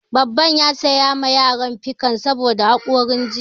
Babban ya saya ma yaran pikan saboda haƙori jiya